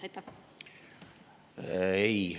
Ei!